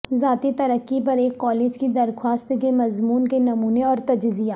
ذاتی ترقی پر ایک کالج کی درخواست کے مضمون کے نمونے اور تجزیہ